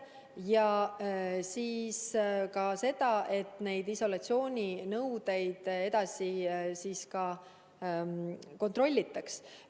Ja nende isolatsiooninõuete täitmist tuleb edasi kontrollida.